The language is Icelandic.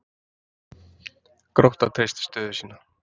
Grótta treystir stöðu sína